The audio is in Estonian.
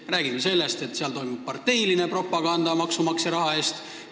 Me räägime sellest, et seal toimub parteiline propaganda maksumaksja raha eest.